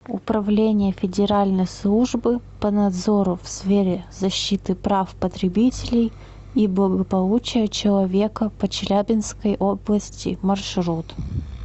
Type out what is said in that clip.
управление федеральной службы по надзору в сфере защиты прав потребителей и благополучия человека по челябинской области маршрут